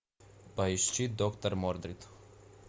поищи доктор мордрид